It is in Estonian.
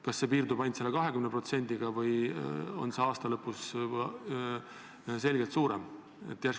Kas see maks piirdub ainult 20%-ga või on see aasta lõpus selgelt suurem?